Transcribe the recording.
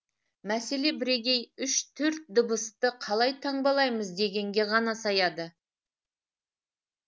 мәселе бірегей үш төрт дыбысты қалай таңбалаймыз дегенге ғана саяды